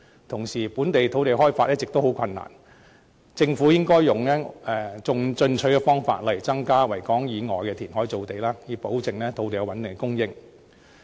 同時，本港土地開發一直十分困難，政府應採用進取的方式，例如增加在維港以外填海造地，以保證有穩定的土地供應。